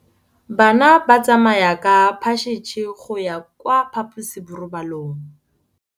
Bana ba tsamaya ka phašitshe go ya kwa phaposiborobalong.